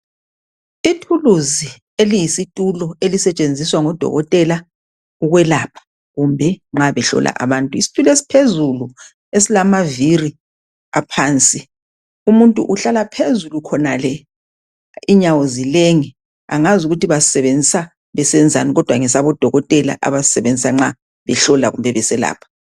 Ithuluzi eliyisitulo ezisetshenziswa ngudokotela ukwelapha kumbe nxa behlola abantu , isitulo esiphezulu esilamaviri aphansi , umuntu uhlala phezulu khonale inyawo zilenge , angazi ukuthi basisebenzisa besenzani kodwa ngesabodokotela abasisebenzisa nxa behlola kumbe beselapha